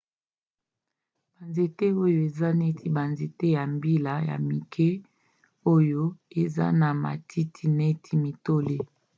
banzete oyo eza neti banzete ya mbila ya mike oyo eza na matiti neti mitole